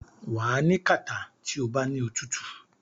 wà á ní kàtá tí o bá ní òtútù.